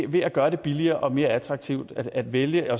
ved at gøre det billigere og mere attraktivt at vælge